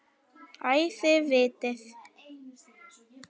Æ, þið vitið.